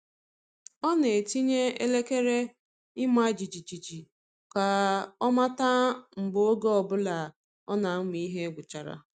Ọ na-etinye elekere ịma jijiji ka ọ mata mgbe oge ọ bụla ọ na-amụ ihe gwụchara.